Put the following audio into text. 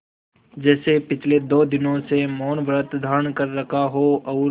जैसे पिछले दो दिनों से मौनव्रत धारण कर रखा हो और